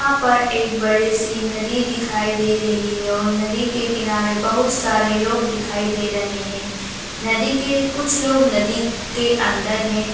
यहाँ पर एक बड़ी सी नदी दिखाई दे रही है और नदी के किनारे बहुत सारे लोग दिखाई दे रहे हैं नदी के कुछ लोग नदी के अंदर है।